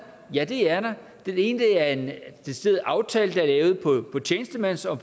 ja det er der den ene er en decideret aftale der er lavet på tjenestemands og